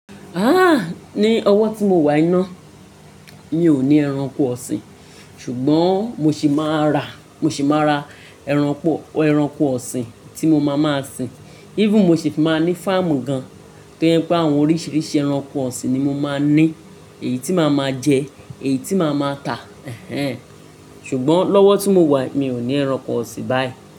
Haa! Ni ọwọ́ tí mo wàyi ná, mi ò ní ẹranko ọ̀sìn, ṣùgbọ́n mo sì máa ra, mo sì máa ra ẹranko, ẹranko ọ̀sìn tí mo máa máa sin. Even mo sì máa ní fáàmù gan. To je pé àwọn oríṣiríṣi ẹranko ọ̀sìn ni mo máa ní, èyí tí màá máa jẹ, èyí tí màá máa tà. Hhen. Ṣùgbọ́n lọ́wọ́ tí mo wà yi mi ò ní ẹranko ọ̀sìn báyìí.